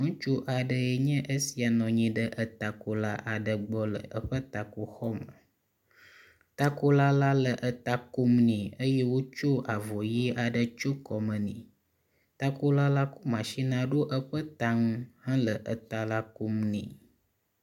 Ŋutsu aɖee nye esia nɔ anyi ɖe takola aɖe gbɔ le eƒe takoxɔ aɖe me. Takola la le eta kom nɛ eye wotsɔ avɔ ʋe aɖe tsyɔ kɔme nɛ. Takola la kɔ matsinia ɖo eƒe ta ŋu hele eta la kom nɛ.